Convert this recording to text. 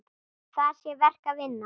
Þar sé verk að vinna.